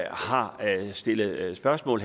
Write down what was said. har stillet spørgsmål